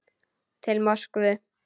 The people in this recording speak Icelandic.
Til Moskvu